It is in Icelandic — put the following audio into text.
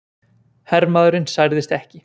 Hermaðurinn særðist ekki